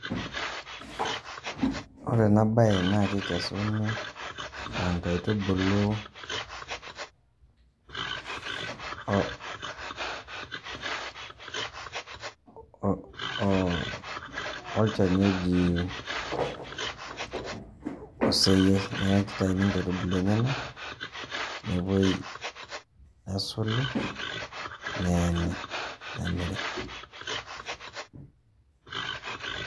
Ore enabae na kekesuni nkaitubulu olchani oji oseyiai. Neeku kitauni nkaitubulu enyanak, nepoi esuli, neeni. Nemiri.